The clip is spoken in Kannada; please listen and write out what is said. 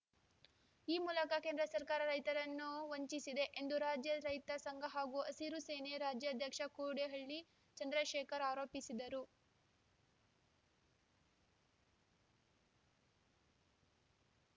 ಈ ಮೂಲಕ ಕೇಂದ್ರ ಸರ್ಕಾರ ರೈತರನ್ನು ವಂಚಿಸಿದೆ ಎಂದು ರಾಜ್ಯ ರೈತ ಸಂಘ ಹಾಗೂ ಹಸಿರು ಸೇನೆ ರಾಜ್ಯಾಧ್ಯಕ್ಷ ಕೋಡಿಹಳ್ಳಿ ಚಂದ್ರಶೇಖರ್‌ ಆರೋಪಿಸಿದರು